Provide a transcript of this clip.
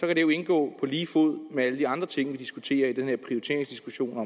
kan det jo indgå på lige fod med alle de andre ting vi diskuterer i den her prioriteringsdiskussion